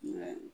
Mɛ